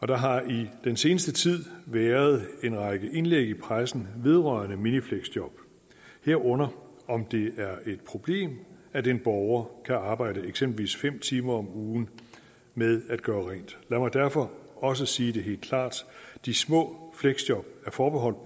der har i den seneste tid været en række indlæg i pressen vedrørende minifleksjob herunder om det er et problem at en borger kan arbejde eksempelvis fem timer om ugen med at gøre rent lad mig derfor også sige det helt klart de små fleksjob er forbeholdt